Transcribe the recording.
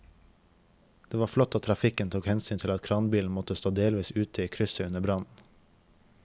Det var flott at trafikken tok hensyn til at kranbilen måtte stå delvis ute i krysset under brannen.